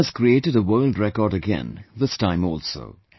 Yoga has created a world record again this time also